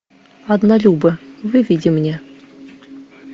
однолюбы выведи мне